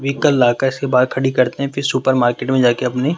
vehicle lockers के बाहर खड़ी करते हैं फिर सुपर मार्केट में जाके अपनी--